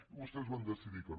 i vostès van decidir que no